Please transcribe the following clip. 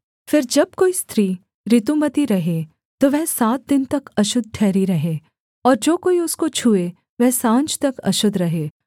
फिर जब कोई स्त्री ऋतुमती रहे तो वह सात दिन तक अशुद्ध ठहरी रहे और जो कोई उसको छूए वह साँझ तक अशुद्ध रहे